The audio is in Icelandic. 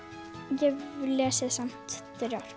ég hef lesið samt þrjár